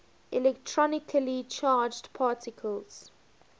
electrically charged particles